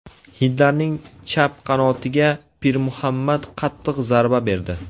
Hindlarning chap qanotiga Pirmuhammad qattiq zarba berdi.